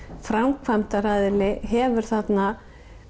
framkvæmdaraðili hefur þarna